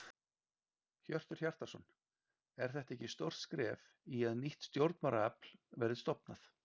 Hjörtur Hjartarson: Er þetta ekki stórt skref í að nýtt stjórnmálaafl verði stofnað?